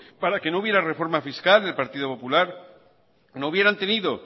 para que no hubiera reforma fiscal el partido popular no hubieran tenido